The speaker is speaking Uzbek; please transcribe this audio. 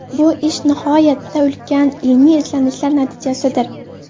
Bu ish nihoyatda ulkan ilmiy izlanishlar natijasidir.